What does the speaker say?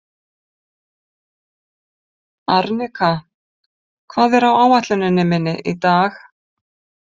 Arnika, hvað er á áætluninni minni í dag?